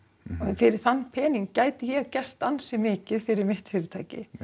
fyrir þann pening gæti ég gert ansi mikið fyrir mitt fyrirtæki